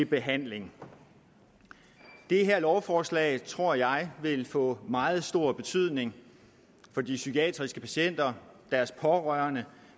behandling det her lovforslag tror jeg vil få meget stor betydning for de psykiatriske patienter deres pårørende